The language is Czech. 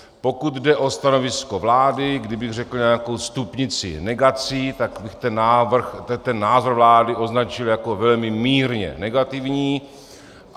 Pokud jde o stanovisko vlády, kdybych řekl nějakou stupnici negací, tak bych ten názor vlády označil jako velmi mírně negativní.